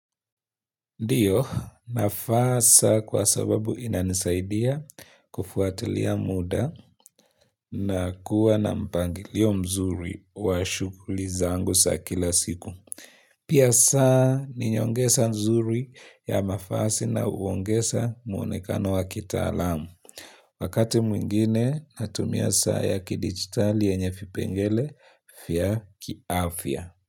Ndio, nafasi kwa sababu inanisaidia kufuatilia muda na kuwa na mpangilio mzuri wa shughuli zangu za kila siku. Pia saa ni nyongesa mzuri ya mavazi na huongeza muonekano wa kitaalamu. Wakati mwingine, natumia saa ya kidigitali yenye vipengele vya kiafya.